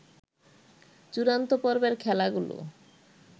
চূড়ান্ত পর্বের খেলাগুলো